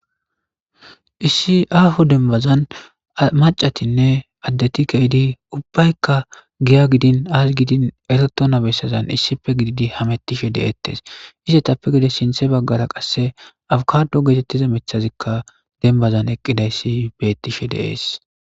issi aho denbazan macatinne addeti keidi ubbaykka giya gidin aas gidin ereto nabessazan issipe gididi hamettishe de7eettes ise tappe gide shinthe baggara qasse awukado geetettize methazikka denbazan eqqidayssi beettishe deees